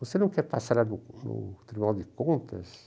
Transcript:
Você não quer passar lá no no Tribunal de Contas?